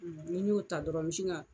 Ni n y'o ta dɔrɔn n mɛ sin ka